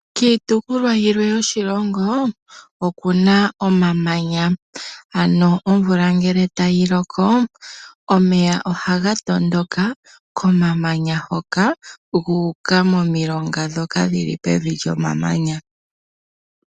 Kiitopolwa yilwe yoshilongo oku na omamanya, ano omvula ngele tayi loko omeya ohaga tondoka komamanya hoka gu uka momilonga ndhoka dhi li pevi lyomamanya.